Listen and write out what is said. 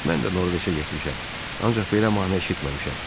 Mən də Norveçə getmişəm, ancaq belə mahnı eşitməmişəm.